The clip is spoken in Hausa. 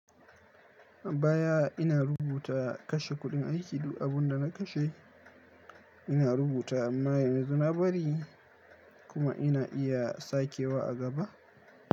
Baya ina rubuta kashe kuɗin aiki, duk abin da na kashe ina rubuta amma yanzu na bari kuma ina iya sakewa a gaba.